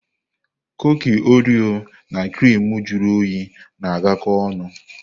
Kuki Orio na criimu juru oyi na-agakọ ọnụ.